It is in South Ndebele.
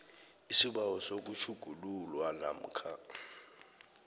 isibawo sokutjhugululwa namkha